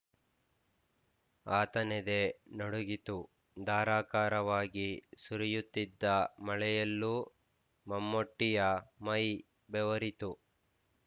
ಆತನೆದೆ ನಡುಗಿತು ಧಾರಾಕಾರವಾಗಿ ಸುರಿಯುತ್ತಿದ್ದ ಮಳೆಯಲ್ಲೂ ಮಮ್ಮೂಟಿಯ ಮೈ ಬೆವರಿತು